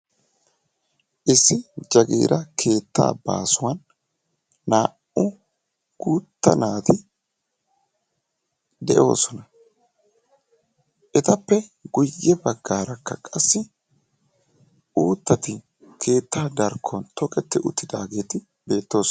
Issi jagiira keettaa baasuwan naa"u guutta naati de'oosona. Etappe guyye baggaarakka qassi uuttati keettaa darkkon toketti uttidaageeti beettoosona.